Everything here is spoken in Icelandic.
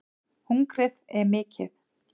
Hungrið er mikið